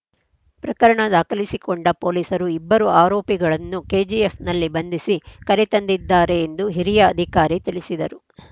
ಪ್ರಕರಣ ದಾಖಲಿಸಿಕೊಂಡ ಪೊಲೀಸರು ಇಬ್ಬರು ಆರೋಪಿಗಳನ್ನು ಕೆಜಿಎಫ್‌ನಲ್ಲಿ ಬಂಧಿಸಿ ಕರೆ ತಂದಿದ್ದಾರೆ ಎಂದು ಹಿರಿಯ ಅಧಿಕಾರಿ ತಿಳಿಸಿದರು